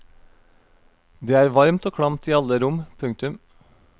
Det er varmt og klamt i alle rom. punktum